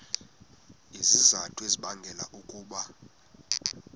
izizathu ezibangela ukuba